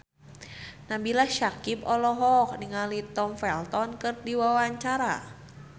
Nabila Syakieb olohok ningali Tom Felton keur diwawancara